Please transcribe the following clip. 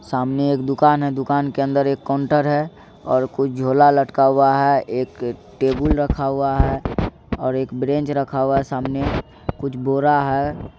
सामने एक दुकान है दुकान के अंदर एक काउंटर है कुछ झोरा लटका है एक टेबल रखा हुआ है और एक ब्रैंच रखा हुआ है सामने कुछ बोरा है।